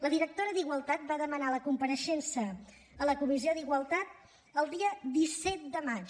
la directora d’igualtat va demanar la compareixença a la comissió d’igualtat el dia disset de maig